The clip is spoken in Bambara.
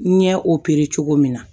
N ɲɛ cogo min na